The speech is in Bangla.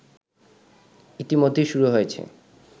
ইতোমধ্যেই শুরু হয়েছে